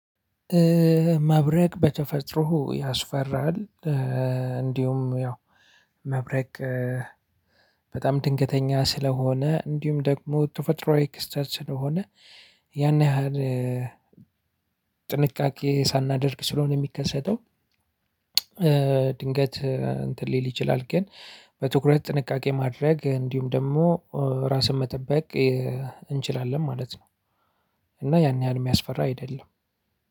መብረቅ በተፈጥሮ ያስፈራል። እንዲሁም ያው መብረቅ በጣም ድንገተኛ ስለሆነ እንዲሁም ደግሞ ተፈጥሮ ክስተት ስለሆነ ያን ያህል ጥንቃቄ ሳናደርግ ስለሆነ የሚከሰተው ድንገት እንትን ሊል ይችላል። ግን በትኩረት ጥንቃቄ ማድረግ እንዲሁም ደግሞ ራስን መጠበቅ እንችላለን ማለት ነው። እና ያን ያህል የሚያስፈራ አይደለም።